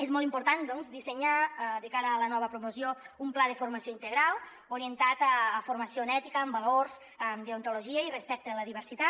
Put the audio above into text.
és molt important doncs dissenyar de cara a la nova promoció un pla de formació integral orientat a formació en ètica en valors deontologia i respecte a la diversitat